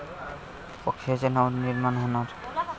पक्षाचे नवनिर्माण होणार?